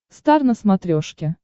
стар на смотрешке